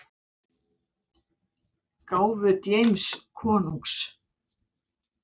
gáfu James konungs.